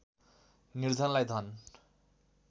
निर्धनलाई धन